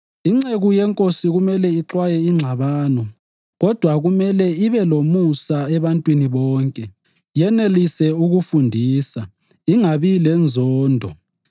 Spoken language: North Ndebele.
Inceku yeNkosi kumele ixwaye ingxabano; kodwa kumele ibe lomusa ebantwini bonke, yenelise ukufundisa, ingabi lenzondo.